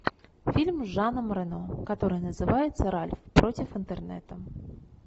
фильм с жаном рено который называется ральф против интернета